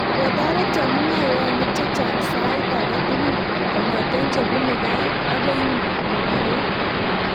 Kotoret chemung'arainik chechang sait age tugul kongetee chepunuu gaa akoi magorek